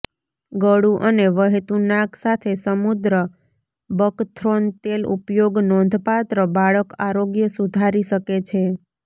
ગળું અને વહેતું નાક સાથે સમુદ્ર બકથ્રોન તેલ ઉપયોગ નોંધપાત્ર બાળક આરોગ્ય સુધારી શકે છે